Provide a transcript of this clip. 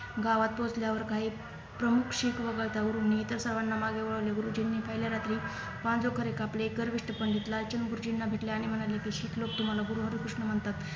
गावात पोहोचल्यावर काही प्रमुख शीख लोक मागे वळवले गुरुजींच्या पहिल्या रात्री पणजो खरे कापले पंडित लालचंद गुरुजींना भेटले आणि म्हणाले कि शीख लोक तुम्हाला गुरु हरी कृष्ण म्हणतात